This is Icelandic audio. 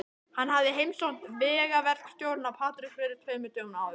Hann hafði heimsótt vegaverkstjórann á Patreksfirði tveimur dögum áður.